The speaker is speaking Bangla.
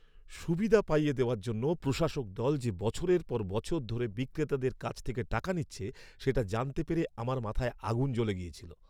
সুবিধা পাইয়ে দেওয়ার জন্য প্রশাসক দল যে বছরের পর বছর ধরে বিক্রেতাদের কাছ থেকে টাকা নিচ্ছে, সেটা জানতে পেরে আমার মাথায় আগুন জ্বলে গিয়েছিল।